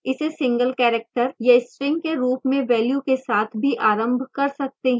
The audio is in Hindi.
इसे single character या string के रूप में value के साथ भी आरंभ कर सकते हैं